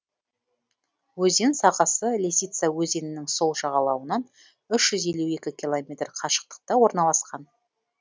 өзен сағасы лисица өзенінің сол жағалауынан үш жүз елу екі километр қашықтықта орналасқан